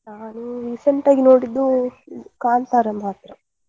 ನಾನು recent ಆಗಿ ನೋಡಿದ್ದು ಕಾಂತಾರ ಮಾತ್ರ.